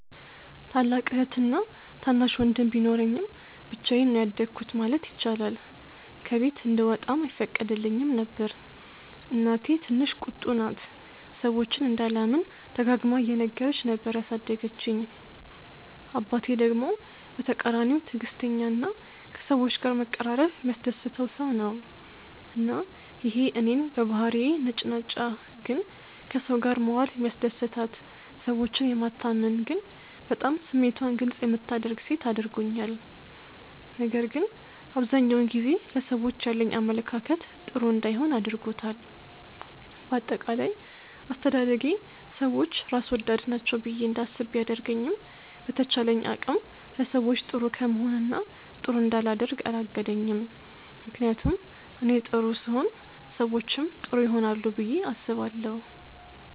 ታላቅ እህትና ታናሽ ወንድም ቢኖረኝም ብቻዬን ነው ያደኩት ማለት ይቻላል። ከቤት እንድወጣም አይፈቀድልኝም ነበር። እናቴ ትንሽ ቁጡ ናት፤ ሰዎችን እንዳላምን ደጋግማ እየነገረች ነበር ያሳደገችኝ። አባቴ ደግሞ በተቃራኒው ትዕግስተኛ እና ከሰዎች ጋር መቀራረብ የሚያስደስተው ሰው ነው። እና ይሄ እኔን በባህሪዬ ነጭናጫ ግን ከሰው ጋር መዋል የሚያስደስታት፣ ሰዎችን የማታምን ግን በጣም ስሜቷን ግልፅ የምታደርግ ሴት አድርጎኛል። ነገር ግን አብዛኛውን ጊዜ ለሰዎች ያለኝ አመለካከት ጥሩ እንዳይሆን አድርጎታል። በአጠቃላይ አስተዳደጌ ሰዎች ራስ ወዳድ ናቸው ብዬ እንዳስብ ቢያደርገኝም በተቻለኝ አቅም ለሰዎች ጥሩ ከመሆን እና ጥሩ እንዳላደርግ አላገደኝም። ምክንያቱም እኔ ጥሩ ስሆን ሰዎችም ጥሩ ይሆናሉ ብዬ አስባለሁ።